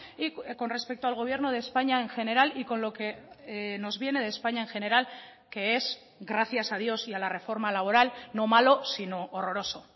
y con respecto al gobierno de españa en general y con lo que nos viene de españa en general que es gracias a dios y a la reforma laboral no malo sino horroroso